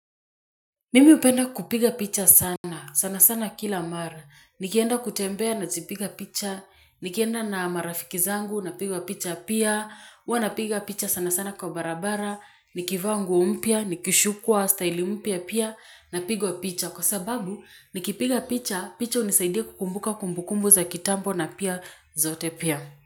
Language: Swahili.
Mimi hupenda kupiga picha sana, sanasana kila mara, nikienda kutembea nazipiga picha, nikienda na marafiki zangu, napigwa picha pia, huwa npiga picha sana sana kwa barabara, nikivaa nguo mpya, nikishukwa, staili mpya pia, napigwa picha, kwa sababu nikipiga picha, picha hunisaidia kukumbuka kumbukumbu za kitambo na pia zote pia.